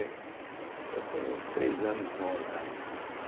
Então foi uns três anos bons lá.